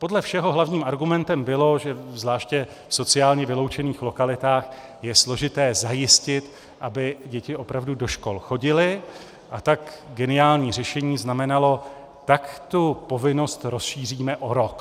Podle všeho hlavním argumentem bylo, že zvláště v sociálně vyloučených lokalitách je složité zajistit, aby děti opravdu do škol chodily, a tak geniální řešení znamenalo: tak tu povinnost rozšíříme o rok.